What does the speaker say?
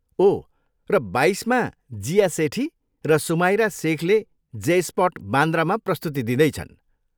ओह, र बाइसमा, जिया सेठी र सुमाइरा सेखले जे स्पट, बान्द्रामा प्रस्तुति दिँदैछन्।